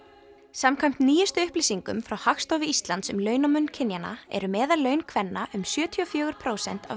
samkvæmt nýjustu upplýsingum frá Hagstofu Íslands um launamun kynjanna eru meðallaun kvenna um sjötíu og fjögur prósent af